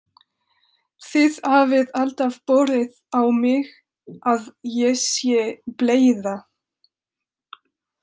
Þið hafið alltaf borið á mig að ég sé bleyða.